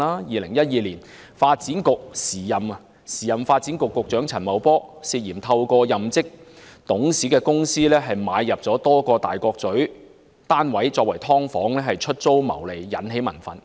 2012年，時任發展局局長陳茂波涉嫌透過任職董事的公司購入多個位於大角咀的單位用作"劏房"出租牟利，因而引起民憤。